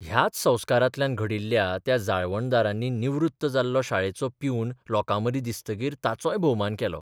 ह्याच संस्कारांतल्यान घडिल्ल्या त्या जाळवणदारांनी निवृत्त जाल्लो शाळेचो प्यून लोकांमदीं दिसतकीर ताचोय भोवमान केलो.